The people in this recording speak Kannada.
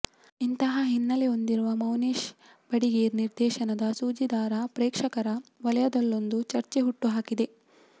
ಇಂಥಾ ಹಿನ್ನೆಲೆ ಹೊಂದಿರುವ ಮೌನೇಶ್ ಬಡಿಗೇರ್ ನಿರ್ದೇಶನದ ಸೂಜಿದಾರ ಪ್ರೇಕ್ಷಕರ ವಲಯದಲ್ಲೊಂದು ಚರ್ಚೆ ಹುಟ್ಟು ಹಾಕಿದೆ